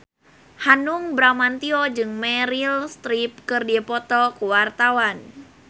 Hanung Bramantyo jeung Meryl Streep keur dipoto ku wartawan